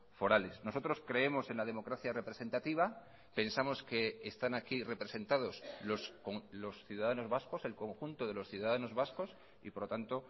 forales nosotros creemos en la democracia representativa pensamos que están aquí representados los ciudadanos vascos el conjunto de los ciudadanos vascos y por lo tanto